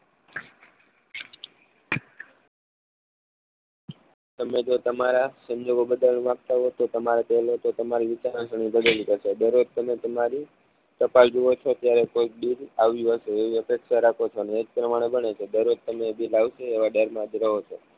તમે જો તમારા સંજોગો બદલાવ માંગતા હોવ તો તમારી વિચારવા ની દરરોજ તમે તમારી ટપાલ જુવો છો ત્યારે કોઈક દૂધ આવ્યું હશે એવી અપેક્ષા રાખો છો ને એજ પ્રમાણે બને છે દરોજ્જ તમે એ બિલ આવશે એ દરમાં જ રહો છો